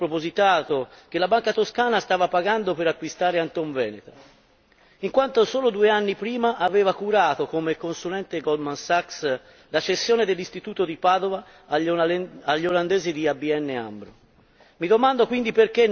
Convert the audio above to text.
Draghi sapeva bene il costo spropositato che la banca toscana stava pagando per acquistare Antonveneta, in quanto solo due anni prima aveva curato come consulente Goldman Sachs la cessione dell'istituto di Padova agli olandesi di ABN Amro.